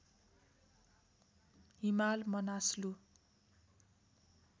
Himal Manaslu